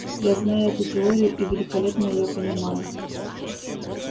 я знаю эту теорию и великолепно её понимаю